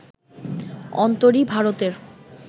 অন্তরি ভারতের